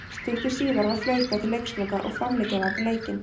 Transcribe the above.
Stuttu síðar var flautað til leiksloka og framlengja varð leikinn.